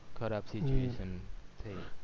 ખરાબ situation થય